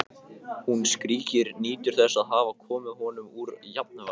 Hún skríkir, nýtur þess að hafa komið honum úr jafnvægi.